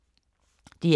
DR K